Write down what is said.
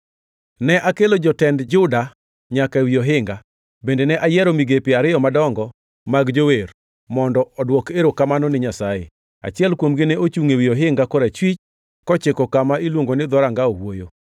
Ne akelo jotend Juda nyaka ewi ohinga. Bende ne ayiero migepe ariyo madongo mag jower mondo odwok erokamano ni Nyasaye. Achiel kuomgi ne ochungʼ ewi ohinga korachwich, kochiko kama iluongo ni Dhoranga Owuoyo.